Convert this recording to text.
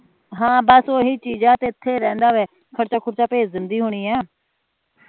ਹਮ ਬਸ ਉਹੀ ਚੀਜ ਆ ਤੇ ਇਥੇ ਰਹਿੰਦਾ ਵਾ ਖਰਚਾ ਖੁਰਚਾ ਪੈਜ ਦੰਦੀ ਹੋਣੀ ਆ